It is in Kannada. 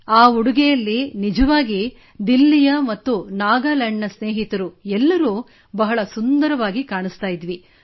ಆ ಉಡುಗೆಯಲ್ಲಿ ನಿಜವಾಗಿಯೂ ದಿಲ್ಲಿಯ ಮತ್ತು ನಾಗಾಲ್ಯಾಂಡ್ ನ ಸ್ನೇಹಿತರು ಎಲ್ಲರೂ ಬಹಳ ಸುಂದರವಾಗಿ ಕಾಣಿಸುತ್ತಿದ್ದೆವು